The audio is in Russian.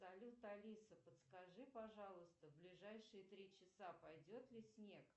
салют алиса подскажи пожалуйста ближайшие три часа пойдет ли снег